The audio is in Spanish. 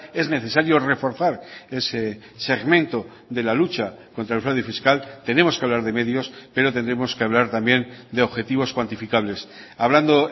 es necesario reforzar ese segmento de la lucha contra el fraude fiscal tenemos que hablar de medios pero tendremos que hablar también de objetivos cuantificables hablando